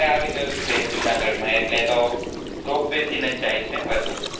ropeway આવી ગયું છે જુનાગઢ માં એટલે તો ropeway થીનજ જાય છે વધુ